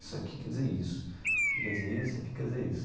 Isso aqui quer dizer isso, isso aqui quer dizer isso, isso aqui quer dizer isso.